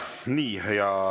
Nii.